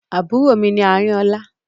Àbúrò mi ní Àrinolá.